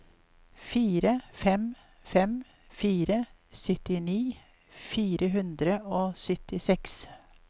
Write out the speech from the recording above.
fire fem fem fire syttini fire hundre og syttiseks